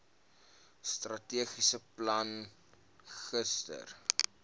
strategiese plan gister